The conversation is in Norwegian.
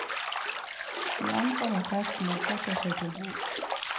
De ankommer festen og setter seg til bords.